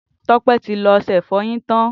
Tope ti ló ọṣẹ ifọyin tán